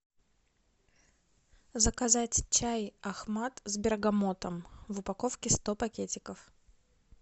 заказать чай ахмат с бергамотом в упаковке сто пакетиков